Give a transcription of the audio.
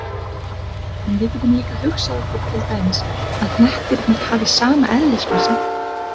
En við getum líka hugsað okkur til dæmis að hnettirnir hafi sama eðlismassa.